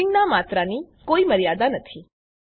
નેસ્ટીંગનાં માત્રાની કોઈ મર્યાદા નથી